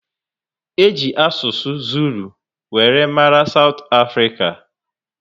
Eji asụsụ Zulu were mara south africa